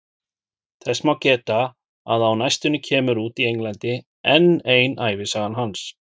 Þess má geta að á næstunni kemur út í Englandi enn ein ævisaga hans.